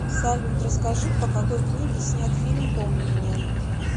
салют расскажи по какои книге снят фильм помни меня